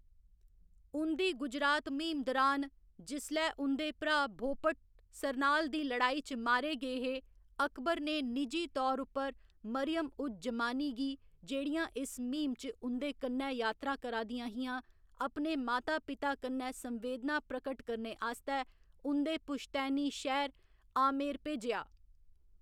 उं'दी गुजरात म्हीम दुरान, जिसलै उं'दे भ्राऽ भोपट सरनाल दी लड़ाई च मारे गे हे, अकबर ने निजी तौर उप्पर मरियम उज जमानी गी, जेह्‌ड़ियां इस म्हीम च उं'कन्नै यात्रा करा दियां हियां, अपने माता पिता कन्नै संवेदना प्रकट करने आस्तै उं'दे पुश्तैनी शैह्‌र आमेर भेजेआ।